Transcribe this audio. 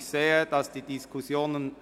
Ich sehe, dass sehr hitzige Diskussionen